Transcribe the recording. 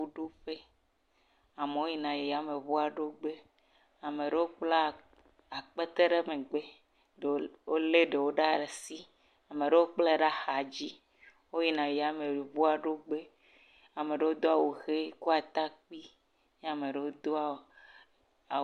Yameŋuɖoƒe. Amewo yina yameŋua ɖoƒe. Amewo bla akpete ɖe megbe. Ɖewo wole ɖewo ɖe asi, ame aɖewo kplae ɖe axa dzi. Woyina yameŋuaɖoƒe. Ame aɖewo doa wu ʋi, do atakpui eye ame aɖewo do…